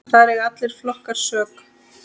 Þar eiga allir flokkar sök.